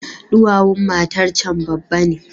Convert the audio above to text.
Duwawun matarcan babba ne.